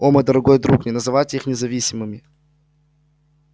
о мой дорогой друг не называйте их независимыми